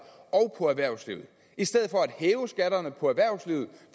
og erhvervslivet i stedet for at hæve skatterne på erhvervslivet